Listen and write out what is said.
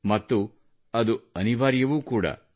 ಮತ್ತು ಅದು ಅನಿವಾರ್ಯವೂ ಕೂಡ